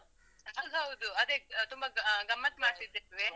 ಹೌದ್ ಹೌದು, ಅದೇ ಅಹ್ ತುಂಬಾ ಅಹ್ ಗಮತ್ತ್ ಮಾಡ್ತಿದ್ದೇವೆ.